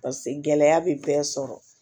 paseke gɛlɛya be bɛɛ sɔrɔ